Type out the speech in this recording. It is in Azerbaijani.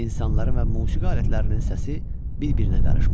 İnsanların və musiqi alətlərinin səsi bir-birinə qarışmışdı.